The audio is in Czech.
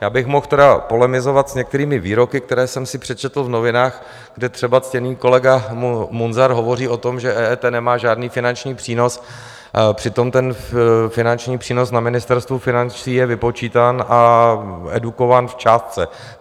Já bych mohl tedy polemizovat s některými výroky, které jsem si přečetl v novinách, kde třeba ctěný kolega Munzar hovoří o tom, že EET nemá žádný finanční přínos, přitom ten finanční přínos na Ministerstvu financí je vypočítán a edukován v částce.